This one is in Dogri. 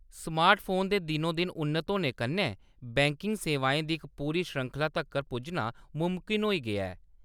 स्मार्टफोन दे दिनो-दिन उन्नत होने कन्नै, बैंकिंग सेवाएं दी इक पूरी श्रृंखला तक्कर पुज्जना मुमकन होई गेआ ऐ।